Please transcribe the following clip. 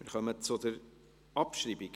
Wir kommen zur Abschreibung.